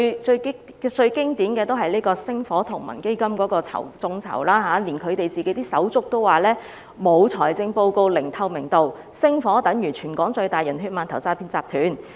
最經典的例子是星火同盟的眾籌活動，就連他們的手足也說星火同盟沒有財政報告，毫無透明度，是全港最大的"人血饅頭"和詐騙集團。